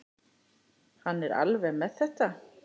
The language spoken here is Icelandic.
Hann er alveg með þetta.